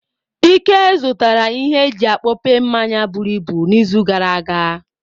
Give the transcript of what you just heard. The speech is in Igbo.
Ike zụtara ihe eji akpope mmanyi buruibu n'izu gara aga.